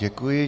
Děkuji.